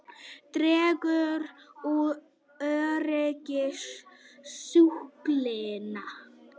Dregur úr öryggi sjúklinga